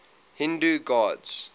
hindu gods